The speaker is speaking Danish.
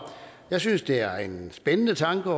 jeg synes det er en spændende tanke